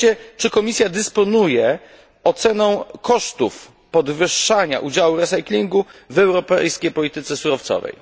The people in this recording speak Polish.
Po trzecie czy Komisja dysponuje oceną kosztów podwyższania udziału recyklingu w europejskiej polityce surowcowej?